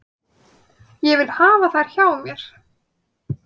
Ég vil hafa þær hjá mér.